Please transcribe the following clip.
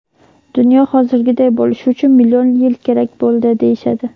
Dunyo hozirgiday bo‘lishi uchun million yil kerak bo‘ldi, deyishadi.